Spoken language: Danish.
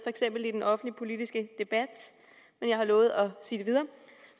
eksempel i den offentlige politiske debat og jeg lovet at sige videre